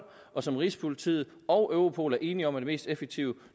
og som rigspolitiet og europol er enige om er det mest effektive